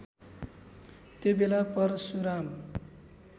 त्यो बेला परशुराम